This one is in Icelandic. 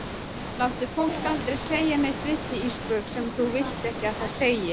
Láttu fólk aldrei segja neitt við þig Ísbjörg sem þú vilt ekki að það segi.